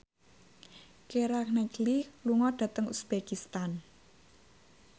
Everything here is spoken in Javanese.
Keira Knightley lunga dhateng uzbekistan